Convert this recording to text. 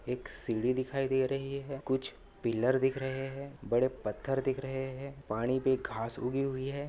एक सीडी दिखाई दे रही है कुछ पिल्लर दिख रहे है बड़े पत्थर दिख रहे है पानी पे घास उगी हुई है।